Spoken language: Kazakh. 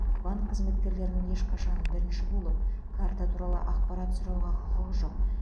банк қызметкерлерінің ешқашан бірінші болып карта туралы ақпарат сұрауға құқығы жоқ